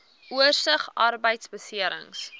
oorsig arbeidbeserings